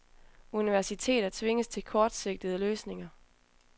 Universiteter tvinges til kortsigtede løsninger.